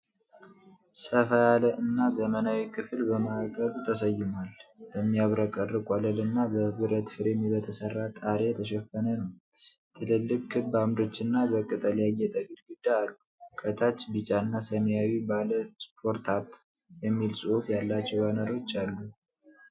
ሰፋ ያለ እና ዘመናዊ ክፍል በማዕከሉ ተሰይሟል፣ በሚያብረቀርቅ ወለልና በብረት ፍሬም በተሰራ ጣሪያ የተሸፈነ ነው። ትልልቅ ክብ አምዶች እና በቅጠል ያጌጠ ግድግዳ አሉ። ከታች ቢጫ እና ሰማያዊ ባለ "ስታርት አፕ" የሚል ጽሑፍ ያላቸው ባነሮች አሉ።